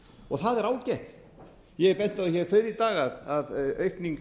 og það er ágætt ég hef bent á það fyrr í dag að aukning